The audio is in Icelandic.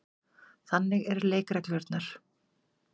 Þannig eru leikreglurnar.